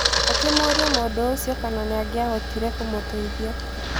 Akĩmũrĩa mũndũ ũcio kana nĩangiahotire kũmũteithia.